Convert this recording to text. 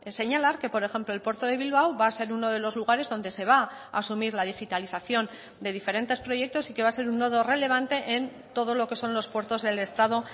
señalar que por ejemplo el puerto de bilbao va a ser uno de los lugares donde se va asumir la digitalización de diferentes proyectos y que va a ser un nodo relevante en todo lo que son los puertos del estado